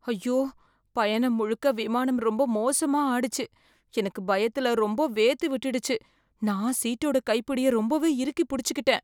ஐயோ, பயணம் முழுக்க விமானம் ரொம்ப மோசமா ஆடிச்சு. எனக்கு பயத்துல ரொம்ப வேர்த்து விட்டுடுச்சு, நான் சீட்டோட கைப்பிடிய ரொம்பவே இறுக்கி புடிச்சுக்கிட்டேன்.